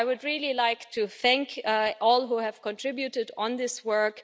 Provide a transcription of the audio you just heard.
So I would really like to thank all who have contributed on this work.